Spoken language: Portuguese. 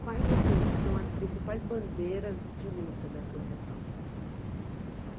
Quais assim são as principais bandeiras de luta da Associação?